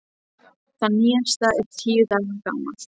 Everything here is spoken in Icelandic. Það nýjasta er tíu daga gamalt.